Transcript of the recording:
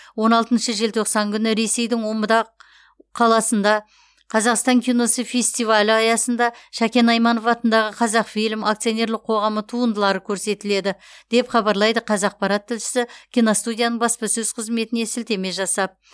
он алтыншы желтоқсан күні ресейдің омбыда қаласында қазақстан киносы фестивалі аясында шәкен айманов атындағы қазақфильм акционерлік қоғамы туындылары көрсетіледі деп хабарлайды қазақпарат тілшісі киностудияның баспасөз қызметіне сілтеме жасап